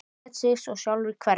Lét sig svo sjálfur hverfa.